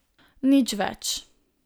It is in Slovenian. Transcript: Nič več.